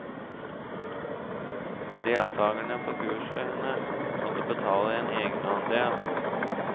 Deltakerne på kursene må betale en egenandel.